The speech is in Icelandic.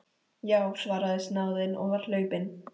Já, svaraði snáðinn og var hlaupinn.